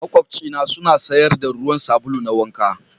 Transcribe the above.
Maƙwabci na suna sayar da ruwan sabulu na wanka.